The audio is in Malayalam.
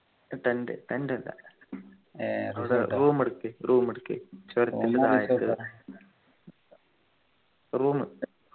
tend tend അല്ല അവിടെ room എടുക്കാ room എടുക്കാ room